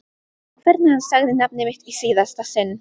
Hvernig hann sagði nafnið mitt í síðasta sinn.